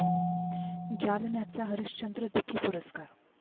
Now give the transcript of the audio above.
जालन्याचा हरिश्चंद्र दुखी पुरस्कार